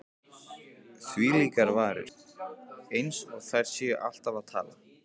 Þvílíkar varir,- eins og þær séu alltaf að tala.